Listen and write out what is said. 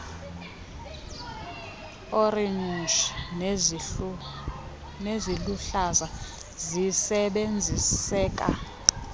orenji neziluhlaza zisebenziseka